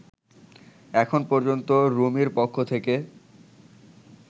এখন পর্যন্ত রুমির পক্ষ থেকে